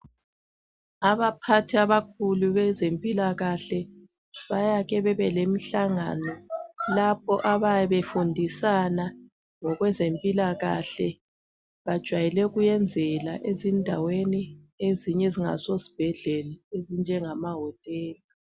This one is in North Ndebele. Abaphathi abakhulu bezempilakahle bayake bebe bemhlangano lapho abayabe befundisana ngokwezempilakahle bajayele ukwenzela ezindaweni ezinye ezingasosibhedlela ezinjengamahotela.